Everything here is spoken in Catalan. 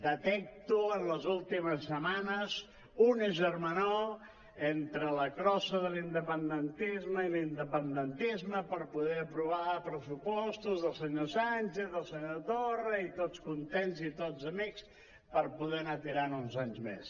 detecto en les últimes setmanes una germanor entre la crossa de l’independentisme i l’independentisme per poder aprovar pressupostos del senyor sánchez del senyor torra i tots contents i tots amics per poder anar tirant uns anys més